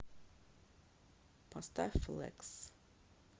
поставь флекс